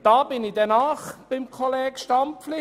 Hier bin ich nahe beim Kollegen Stampfli.